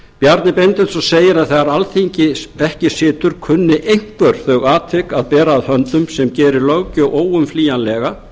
bjarni benediktsson segir að þegar alþingi ekki situr kunni einhver þau atvik að bera að höndum sem geri löggjöf óumflýjanlega